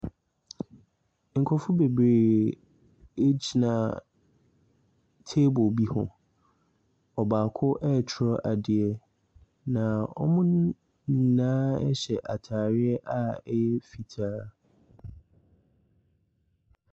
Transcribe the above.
Nkurɔfo bebree gyina table bi ho. Ɔbaako retwerɛ adeɛ, na wɔn nyinaa hyɛ atare a ɛyɛ fitaa.